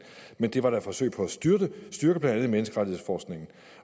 men det var da et forsøg på at styrke blandt andet menneskerettighedsforskningen